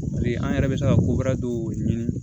An yɛrɛ bɛ se ka ko wɛrɛ dɔw ɲini